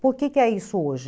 Por que é isso hoje?